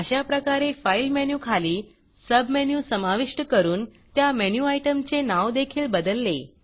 अशाप्रकारे fileफाइल मेनूखाली सबमेनू समाविष्ट करून त्या मेनू आयटमचे नाव देखील बदलले